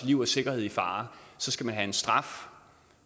liv og sikkerhed i fare skal man have en straf